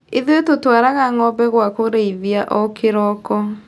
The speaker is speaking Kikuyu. Ithuĩ tũtwaraga ngombe gwa kũrĩithia o kĩroko.